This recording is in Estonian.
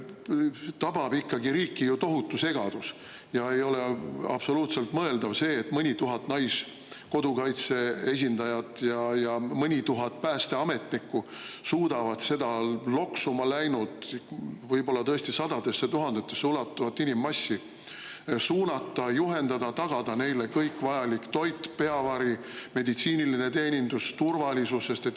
Riiki tabab ju ikkagi ju tohutu segadus ja ei ole absoluutselt mõeldav, et mõni tuhat Naiskodukaitse esindajat ja mõni tuhat päästeametnikku suudavad seda loksuma läinud, võib-olla tõesti sadadesse tuhandetesse ulatuvat inimmassi suunata, juhendada, tagada neile kõik vajalik toit, peavari, meditsiiniline teenindus, turvalisus.